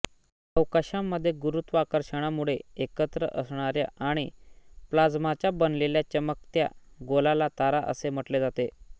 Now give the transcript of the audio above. अवकाशामध्ये गुरुत्वाकर्षणामुळे एकत्र असणाऱ्या आणि प्लाझ्माचा बनलेल्या चमकत्या गोलाला तारा असे म्हटले जाते